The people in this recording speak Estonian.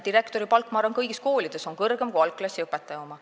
Direktori palk, ma arvan, on kõigis koolides kõrgem kui algklassiõpetaja oma.